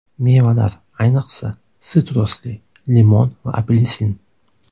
Mevalar , ayniqsa, sitrusli – limon va apelsin.